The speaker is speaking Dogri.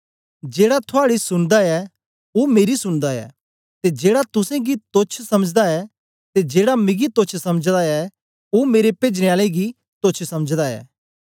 जेड़ा थुआड़ी सुनदा ऐ ओ मेरी सुनदा ऐ ते जेड़ा तुसेंगी तोच्छ स समझदा ऐ ते जेड़ा मिगी तोच्छ समझदा ऐ ओ मेरे पेजने आले गी तोच्छ समझदा ऐ